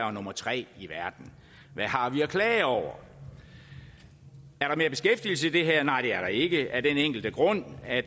og nummer tre i verden hvad har vi at klage over er der mere beskæftigelse i det her nej det er der ikke af den enkle grund at